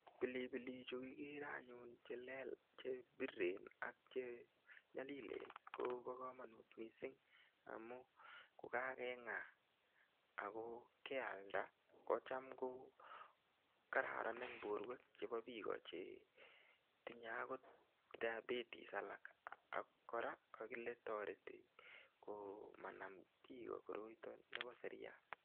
Pilipilichu ikere eng yu che biriren ak chenyolilen kobo komanut mising. Amu kokakeng'a ako kealda kocham ko kororon eng porwek chebo biiko chetinyei akot diabeties alak. Ako kora kokakile toreti biiko komanam koroita nebo seriat.